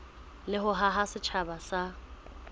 le ho haha setjhaba sa